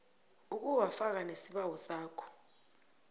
ukuwafaka nesibawo sakho